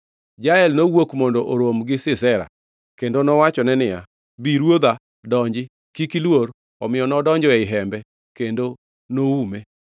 Jael nowuok mondo orom gi Sisera kendo owachone niya, “Bi, ruodha, donji. Kik iluor.” Omiyo nodonjo ei hembe, kendo noume.